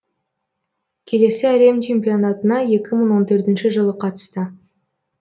келесі әлем чемпионатына екі мың он төртінші жылы қатысты